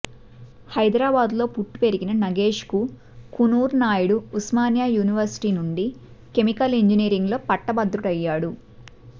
హైదరాబాద్ లో పుట్టి పెరిగిన నగేష్ కుకునూర్ నాయుడు ఉస్మానియా యూనివర్శిటీ నుండి కెమికల్ ఇంజనీరింగులో పట్టభద్రుడయ్యాడు